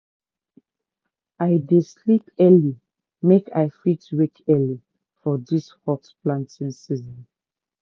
i dey sleep early make i fit wake early for di hot planting season.